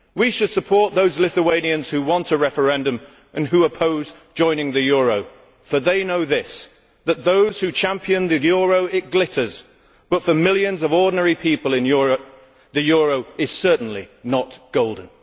We should support those Lithuanians who want a referendum and who oppose joining the euro because they know that for those who champion the euro it glitters but for millions of ordinary people in Europe the euro is certainly not golden.